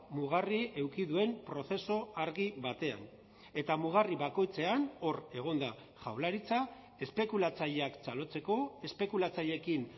mugarri eduki duen prozesu argi batean eta mugarri bakoitzean hor egon da jaurlaritza espekulatzaileak txalotzeko espekulatzaileekin